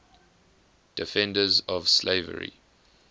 defenders of slavery